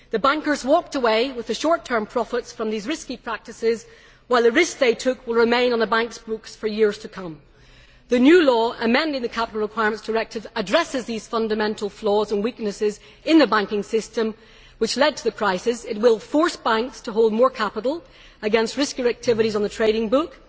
The bankers walked away with the short term profits from these risky practices, while the risks they took will remain on the banks' books for years to come. The new law amending the Capital Requirements Directive addresses these fundamental flaws and weaknesses in the banking system which led to the crisis. It will force banks to hold more capital against riskier activities on the trading book.